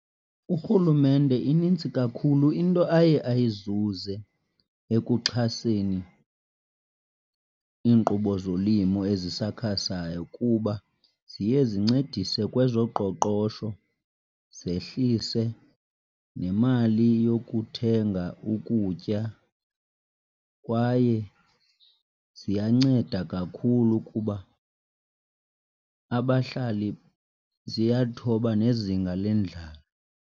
URhulumente inintsi kakhulu into aye ayizuze ekuxhaseni iinkqubo zolimo ezisakhasayo kuba ziye zincedise kwezoqoqosho, zehlise nemali yokuthenga ukutya kwaye ziyanceda kakhulu kuba abahlali ziyalithoba nezinga lendlala.